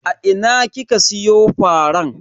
A ina kika siyo faran?